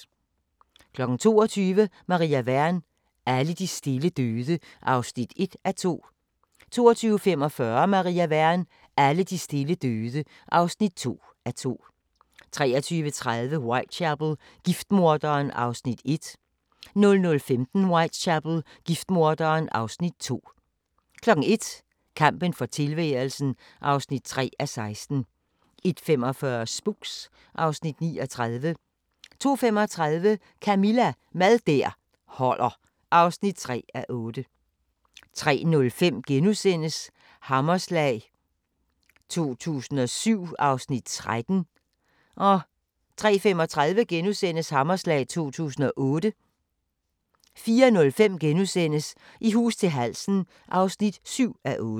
22:00: Maria Wern: Alle de stille døde (1:2) 22:45: Maria Wern: Alle de stille døde (2:2) 23:30: Whitechapel: Giftmorderen (Afs. 1) 00:15: Whitechapel: Giftmorderen (Afs. 2) 01:00: Kampen for tilværelsen (3:16) 01:45: Spooks (Afs. 39) 02:35: Camilla – Mad der holder (3:8) 03:05: Hammerslag 2007 (Afs. 13)* 03:35: Hammerslag 2008 * 04:05: I hus til halsen (7:8)*